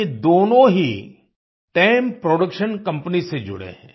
ये दोनों ही टेम प्रोडक्शन कंपनी से जुड़े हैं